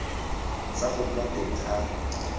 sa go nna teng ga